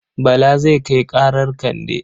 Bala zai kai ƙarar Kande.